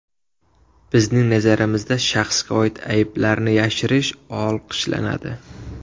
Bizning nazarimizda shaxsga oid ayblarni yashirish olqishlanadi.